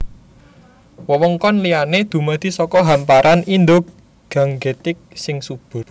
Wewengkon liyané dumadi saka hamparan Indo Gangetik sing subur